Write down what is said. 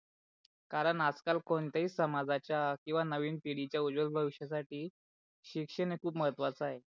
कारण आज काल कोणत्या ही समाजाच्या किवा नवीन पिडीच्या उजवल भविष्यासाठी शिक्षण खूप महत्वाच आहे.